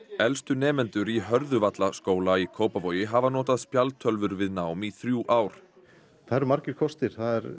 elstu nemendur í Hörðuvallaskóla í Kópavogi hafa notað spjaldtölvur við nám í þrjú ár það eru margir kostir